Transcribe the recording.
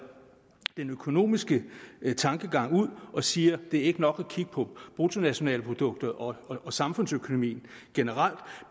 den økonomiske tankegang ud og siger at det ikke er nok at kigge på bruttonationalproduktet og samfundsøkonomien generelt